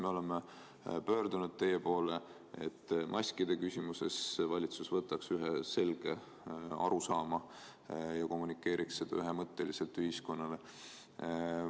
Me oleme pöördunud teie poole palvega, et maskide küsimuses valitsus võtaks selge seisukoha ja kommunikeeriks seda ühemõtteliselt ühiskonnale.